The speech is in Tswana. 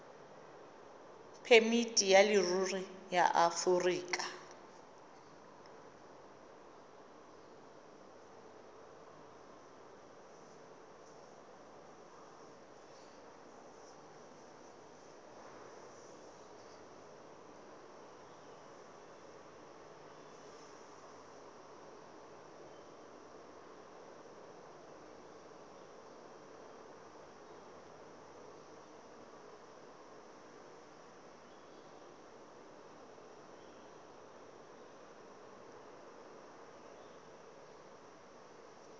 phemiti ya leruri ya aforika